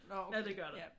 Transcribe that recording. Nå okay. Ja